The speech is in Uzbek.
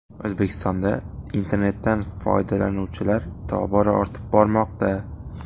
O‘zbekistonda internetdan foydalanuvchilar tobora ortib bormoqda.